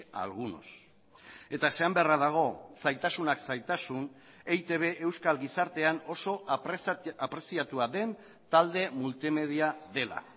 a algunos eta esan beharra dago zailtasunak zailtasun eitb euskal gizartean oso apreziatua den talde multimedia dela